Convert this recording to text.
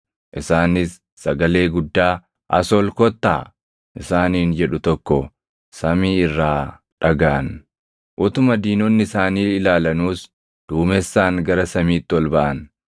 Isaanis sagalee guddaa, “As ol kottaa!” isaaniin jedhu tokko samii irraa dhagaʼan. Utuma diinonni isaanii ilaalanuus duumessaan gara samiitti ol baʼan.